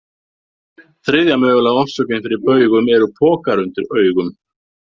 Þriðja mögulega orsökin fyrir baugum eru pokar undir augum.